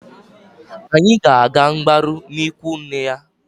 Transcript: Anyị ga-aga mgbarụ n'ikwu nne ya.